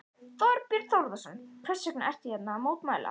Þorbjörn Þórðarson: Hvers vegna ertu hérna að mótmæla?